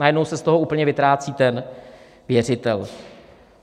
Najednou se z toho úplně vytrácí ten věřitel.